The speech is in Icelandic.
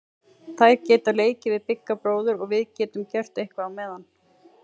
Þær geta leikið við Bigga bróður og við getum gert eitthvað á meðan.